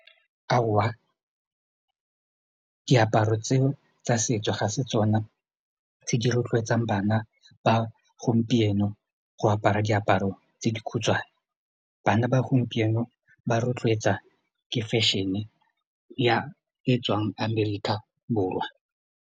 Aowa, diaparo tseo setso ga se tsona tse di rotloetsang bana ba gompieno go apara diaparo tse di khutshwane bana ba gompieno ba rotloetsa ke fashion-e e e tswang Amerika Borwa.